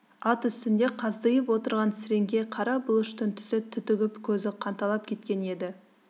ат үстінде қаздиып отырған сіреңке қара бұлыштың түсі түтігіп көзі қанталап кеткен еді